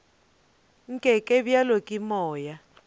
nke ke hlabje ke moya